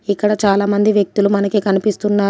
ఇక్కడ చాలామంది వ్యక్తులు మనకి కనిపిస్తున్నారు.